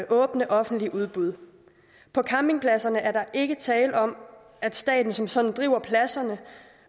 åbne offentlige udbud på campingpladserne er der ikke tale om at staten som sådan driver pladserne